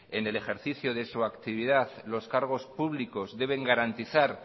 en el ejercicio de su actividad los cargos públicos deben garantizar